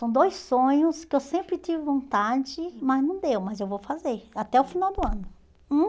São dois sonhos que eu sempre tive vontade, mas não deu, mas eu vou fazer até o final do ano.